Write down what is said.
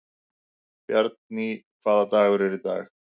Bjarný, hvaða dagur er í dag?